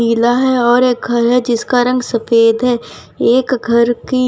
पीला है और एक घर है जिसका रंग सफेद है एक घर की--